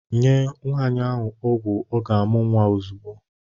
Nye Nwaanyị ahụ ọgwụ ọ ga-amụ nwa ozugbo!